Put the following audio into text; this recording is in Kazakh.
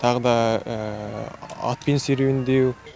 тағы да атпен серуендеу